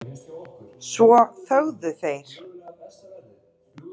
Svo þögðu þeir.